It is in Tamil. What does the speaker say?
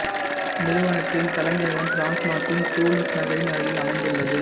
நிறுவனத்தின் தலைமையகம் பிரான்சு நாட்டின் துலூஸ் நகரின் அருகில் அமைந்துள்ளது